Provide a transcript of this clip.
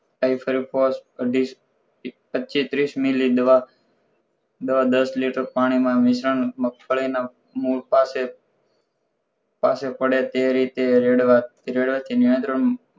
five for અઢી પચ્ચીસ ત્રીસ મિલિદવા દવા દસ liter પાણી માં મિશ્રણ મગફડી ના મૂળ પાસે પાસે પડે તે રીતે રેડવા રેડવાથી નિયંત્રણ